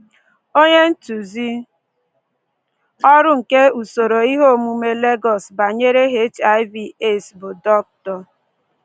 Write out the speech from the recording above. Onye ntụzi ọrụ nke usoro ihe omume Lagos banyere HIV/AIDS bụ Dr